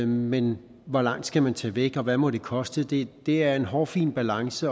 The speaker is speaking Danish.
men hvor langt skal man tage væk og hvad må det koste det er en hårfin balance